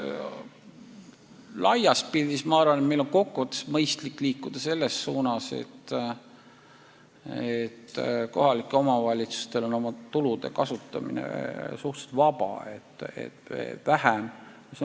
Laias pildis ma arvan, et meil on mõistlik liikuda selles suunas, et kohalikud omavalitsused võivad oma tulusid suhteliselt vabalt kasutada ja et vähem oleks sihtotstarbelisi eraldisi.